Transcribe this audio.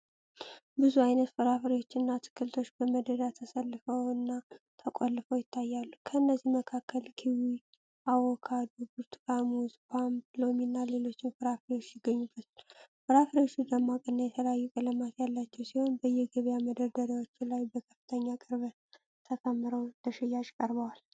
ብዙ አይነት ፍራፍሬዎችና አትክልቶች በመደዳ ተሰልፈውና ተቆልለው ይታያሉ። ከእነዚህም መካከል ኪዊ፣ አቮካዶ፣ ብርቱካን፣ ሙዝ፣ ፖም፣ ሎሚና ሌሎችም ፍራፍሬዎች ይገኙበታል። ፍራፍሬዎቹ ደማቅና የተለያዩ ቀለማት ያላቸው ሲሆን፤ በየገበያ መደርደሪያዎች ላይ በከፍተኛ ቅርበት ተከምረው ለሽያጭ ቀርበዋል።